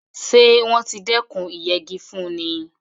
Ṣé wọ́n ti dékùn ìyẹgi fúnni?